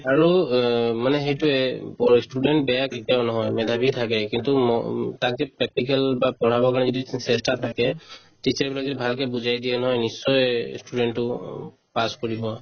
আৰু অ মানে সেইটোয়ে উব পঢ়োৱা student বেয়া কেতিয়াও নহয় মেধাবী থাকে কিন্তু ম উম তাক যদি practical বা পঢ়াবৰ কাৰণে যদি চেষ্টা থাকে তেতিয়া মানে ভালকে বুজাই দিয়ে নহয় নিশ্চয়ে student তো অ' pass কৰিব